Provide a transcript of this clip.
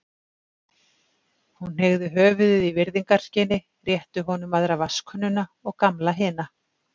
Hún hneigði höfuðið í virðingarskyni, rétti honum aðra vatnskönnuna og Gamla hina.